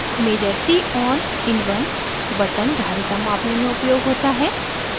measure c on in1 button धारिता capacitance मापने में उपयोग होता है